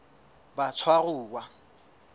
batshwaruwa